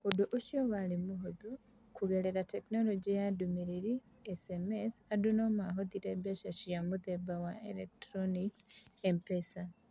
Ũndũ ũcio warĩ mũhũthũ: kũgerera tekinoronjĩ ya ndũmĩrĩri (SMS), andũ no mahũthĩre mbeca cia mũthemba wa electronic (M-PESA).